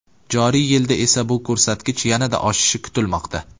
Joriy yilda esa bu ko‘rsatkich yanada oshishi kutilmoqda.